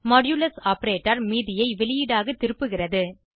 modulus operator மீதியை வெளியீடாக திருப்புகிறது